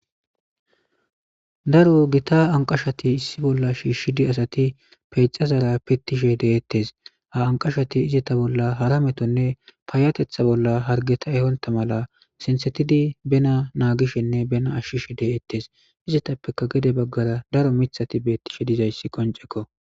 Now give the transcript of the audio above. daro gita anqashati issi bolla shiishshidi asati peecazara pittishe deettes ha anqashati izeta bolla hara metonne paayatetha bolla hargeta ehonta mala sintsetidi bena naagishenne bena ashshishe deettes izetappeka gede baggara daro mithati beettishe dizayssi qoncekko